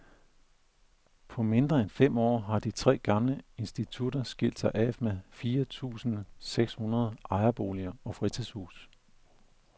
På mindre end fem år har de tre gamle institutter skilt sig af med fire tusinde seks hundrede ejerboliger og fritidshuse.